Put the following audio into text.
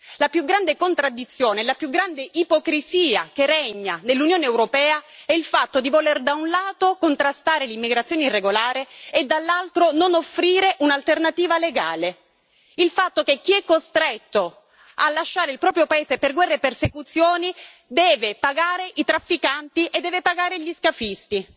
La più grande contraddizione e la più grande ipocrisia che regna nell'Unione europea è il fatto di voler, da un lato, contrastare l'immigrazione irregolare e, dall'altro, non offrire un'alternativa legale. Il fatto che chi è costretto a lasciare il proprio paese per guerre e persecuzioni deve pagare i trafficanti e deve pagare gli scafisti.